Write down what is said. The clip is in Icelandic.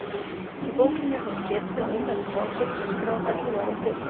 Í bókinni er þess getið að umrædd frásögn sé skráð ellefu árum fyrr.